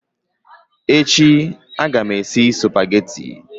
Echi aga m esi Supagetii